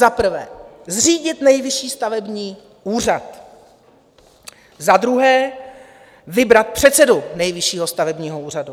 Za prvé zřídit Nejvyšší stavební úřad, za druhé vybrat předsedu Nejvyššího stavebního úřadu.